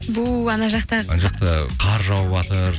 бу анау жақта анау жақтан қар жауватыр